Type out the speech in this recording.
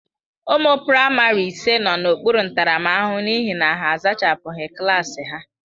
Ụmụ praịmarị ise nọ n'okpuru ntaramahụhụ n'ihi na ha a zachapụghị klaasị ha.